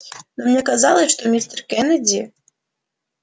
но мне казалось что мистер кеннеди